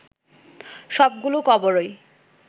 সবগুলো কবরই